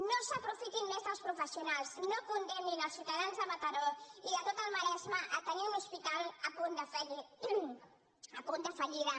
no s’aprofitin més dels professionals no condemnin els ciutadans de mataró i del tot el maresme a tenir un hospital a punt de fallida